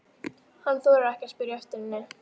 Hann þorir ekki að spyrja eftir henni.